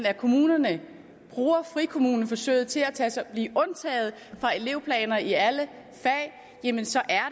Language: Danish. af kommunerne bruger frikommuneforsøget til at blive undtaget fra elevplaner i alle fag jamen så er